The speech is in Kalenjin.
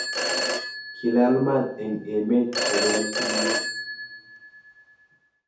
Kilal mat eng emet kobel tulwet.